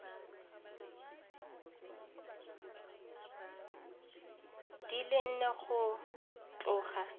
di le nne go tloga